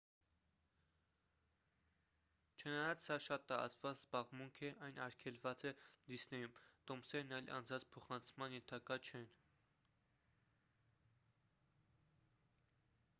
չնայած սա շատ տարածված զբաղմունք է այն արգելված է դիսնեյում տոմսերն այլ անձանց փոխանցման ենթակա չեն